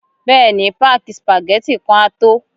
Bẹ́ẹ̀ ni, páàkì spageti kan á tó